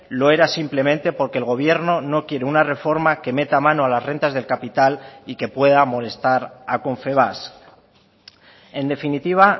lo era simplemente porque el gobierno no quiere una reforma que meta mano a las rentas del capital y que pueda molestar a confebask en definitiva